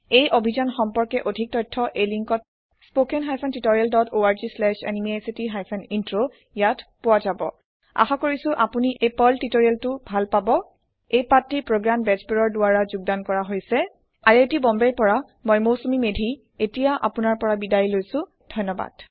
এই অভিযান সম্পৰ্কে অধিক তথ্য এই লিংকত spoken hyphen tutorial dot org slash এনএমইআইচিত হাইফেন ইন্ট্ৰ ইয়াত পোৱা যাব আশা কৰিছো আপুনি এই পাৰ্ল টিউটৰিয়েলটো ভাল পাব এই পাঠ টি প্ৰগয়ান বেজবৰুৱাৰ দ্ৱাৰা কৰা হৈছে আই আই টী বম্বে ৰ পৰা মই মৌচুমী মেধী এতিয়া আপুনাৰ পৰা বিদায় লৈছো যোগ দিয়াৰ বাবে ধণ্যবাদ